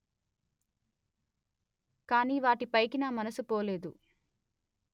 కానీ వాటిపైకి నా మనసు పోలేదు